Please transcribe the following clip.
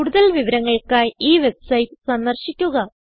കൂടുതൽ വിവരങ്ങൾക്കായി ഈ വെബ്സൈറ്റ് സന്ദർശിക്കുക